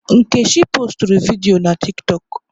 Nkechi postụrụ vidiyo na tịktọk